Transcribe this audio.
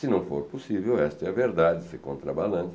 Se não for possível, esta é a verdade, isso é contrabalante.